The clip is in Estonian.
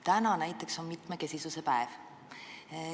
Täna näiteks on mitmekesisuse päev.